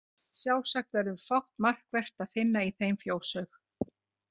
Sjálfsagt verður fátt markvert að finna í þeim fjóshaug.